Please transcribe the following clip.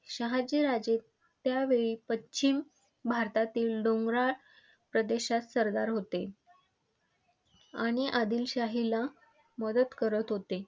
शहाजी राजे, पश्चिम भारतातील डोंगराळ प्रदेशात सरदार होते. आणि आदिलशाहीला मदत करत होते.